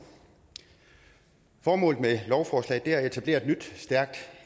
formålet med lovforslaget er at etablere et nyt stærkt